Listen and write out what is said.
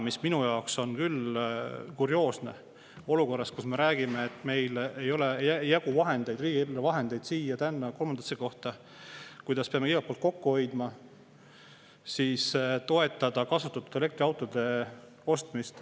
Mis minu jaoks on küll kurioosne, täna olukorras, kus me räägime, et meil ei jagu riigieelarve vahendeid siia, tänna, kolmandasse kohta, me peame igalt poolt kokku hoidma, aga ikkagi toetame kasutatud elektriautode ostmist.